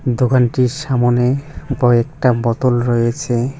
দোকানটির সামোনে কয়েকটা বোতল রয়েছে।